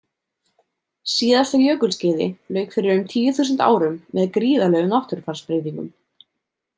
Síðasta jökulskeiði lauk fyrir um tíu þúsund árum með gríðarlegum náttúrufarsbreytingum.